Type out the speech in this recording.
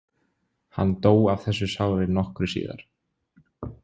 Hann dó af þessu sári nokkru síðar.